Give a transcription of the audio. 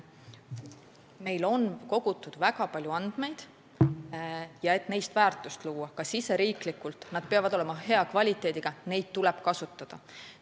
Meil on kogutud väga palju andmeid ja neist on vaja väärtust luua ka riigisiseselt, nad peavad olema hea kvaliteediga, neid tuleb kasutada.